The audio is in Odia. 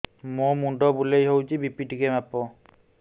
ମୋ ମୁଣ୍ଡ ବୁଲେଇ ହଉଚି ବି.ପି ଟିକେ ମାପ